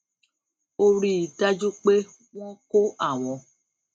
ó rí i dájú pé wón kó àwọn